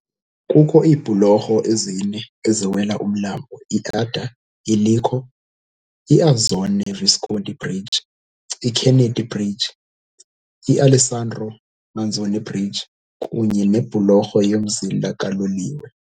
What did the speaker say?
Kukho iibhulorho ezine eziwela umlambo iAdda eLecco - iAzzone Visconti Bridge, iKennedy Bridge, iAlessandro Manzoni Bridge, 1985, kunye nebhulorho yomzila kaloliwe.